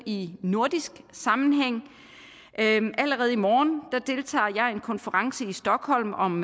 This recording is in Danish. i nordisk sammenhæng allerede i morgen deltager jeg i en konference i stockholm om